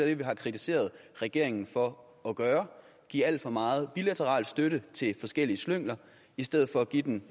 det vi har kritiseret regeringen for at gøre at give alt for meget bilateral støtte til forskellige slyngler i stedet for at give den